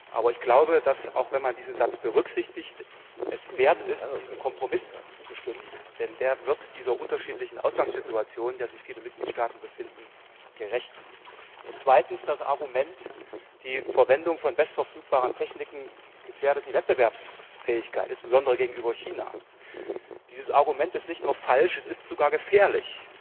Aber ich glaube, dass auch wenn man diesen Satz berücksichtigt die Sache es wert ist, dass man diesem Kompromiss zustimmt, denn der wird dieser unterschiedlichen Ausgangssituation, in der sich viele Mitgliedstaaten befinden, gerecht. Und zweitens Das Argument, die Verwendung von bestverfügbaren Techniken gefährde die Wettbewerbsfähigkeit, insbesondere gegenüber China, ist nicht nur falsch, es ist sogar gefährlich.